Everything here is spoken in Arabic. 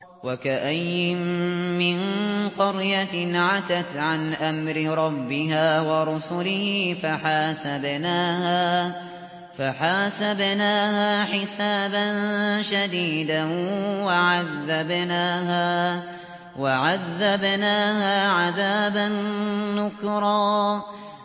وَكَأَيِّن مِّن قَرْيَةٍ عَتَتْ عَنْ أَمْرِ رَبِّهَا وَرُسُلِهِ فَحَاسَبْنَاهَا حِسَابًا شَدِيدًا وَعَذَّبْنَاهَا عَذَابًا نُّكْرًا